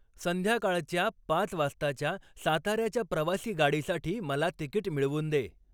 संध्याकाळच्या पाच वाजताच्या साताऱ्याच्या प्रवासी गाडीसाठी मला तिकीट मिळवून दे